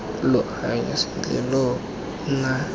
lo anya sentle lo nna